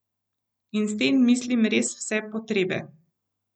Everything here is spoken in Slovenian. In s tem mislim res vse potrebe.